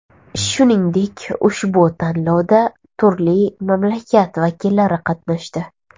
Shuningdek, ushbu tanlovda turli mamlakat vakillari qatnashdi.